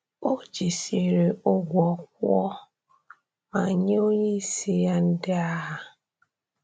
O jisiri ụgwọ kwụọ ma nye onye-isi ya ndị agha.